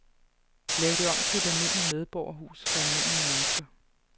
Lav det om til et almindeligt medborgerhus for almindelig mennesker.